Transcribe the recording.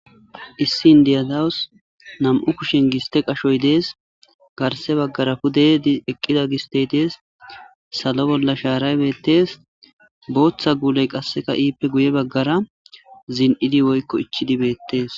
Issi Inday dawuss nammu' kushen gisthe qashoy dees garse bagera pude eqida gisthe dees sallo bolla sharayi bethes boththa gulle izzippe guye bagar zini'di woykko ichid bethess .